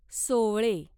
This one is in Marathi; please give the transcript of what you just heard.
सोवळे